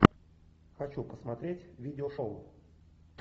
хочу посмотреть видео шоу